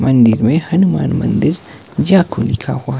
मंदिर में हनुमान मंदिर जाप लिखा हुआ--